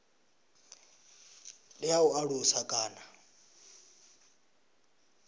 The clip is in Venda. ndi ya u alusa kana